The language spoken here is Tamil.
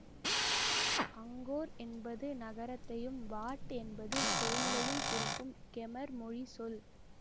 அங்கோர் என்பது நகரத்தையும் வாட் என்பது கோயிலையும் குறிக்கும் கெமர் மொழி சொல்